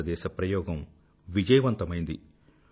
భారతదేశ ప్రయోగం విజయవంతమైంది